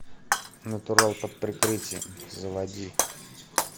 натурал под прикрытием заводи